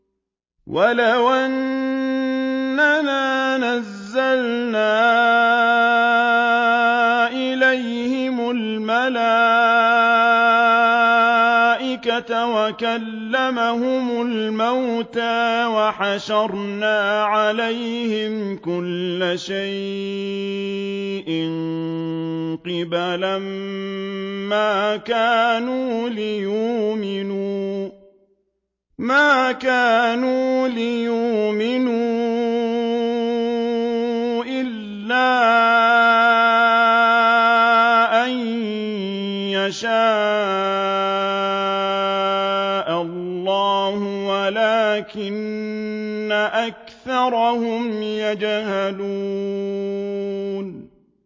۞ وَلَوْ أَنَّنَا نَزَّلْنَا إِلَيْهِمُ الْمَلَائِكَةَ وَكَلَّمَهُمُ الْمَوْتَىٰ وَحَشَرْنَا عَلَيْهِمْ كُلَّ شَيْءٍ قُبُلًا مَّا كَانُوا لِيُؤْمِنُوا إِلَّا أَن يَشَاءَ اللَّهُ وَلَٰكِنَّ أَكْثَرَهُمْ يَجْهَلُونَ